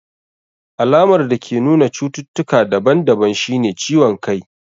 Alamar dake nuna cututtuka daban daban shine ciwon kai.